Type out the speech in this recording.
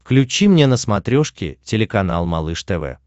включи мне на смотрешке телеканал малыш тв